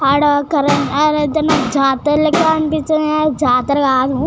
అడ ఆడ అయితే నాకు జాతర లెక్క అనిపించింది కానీ ఆది జాతర కాదు.